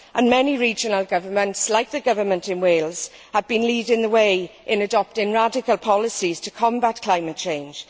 And many regional governments, like the government in Wales, have been leading the way in adopting radical policies to combat climate change.